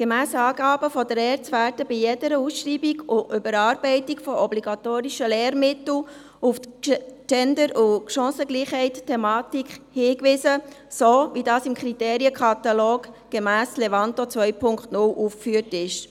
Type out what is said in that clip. Gemäss Angaben der ERZ wird bei jeder Ausschreibung und Überarbeitung von obligatorischen Lehrmitteln auf die Gender- und Chancengleichheitsthematik hingewiesen, so wie dies im Kriterienkatalog gemäss Levanto 2.0 aufgeführt ist.